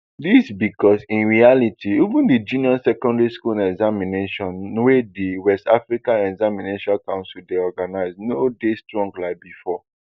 dis becos in reality even di junior secondary school examination wey di west africa examination council dey organise no dey strong like bifor